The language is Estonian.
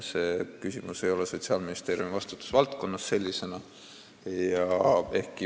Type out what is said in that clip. See küsimus ei ole sellisena Sotsiaalministeeriumi vastutusvaldkonnas.